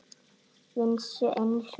Vissu einsog